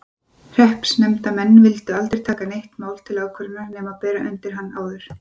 Hreppsnefndarmenn vildu aldrei taka neitt mál til ákvörðunar nema bera undir hann áður.